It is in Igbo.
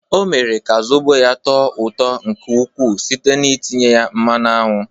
Ọ mere ka zobo ya tọọ ụtọ nke ukwuu site n'itinye ya mmanụ aṅụ.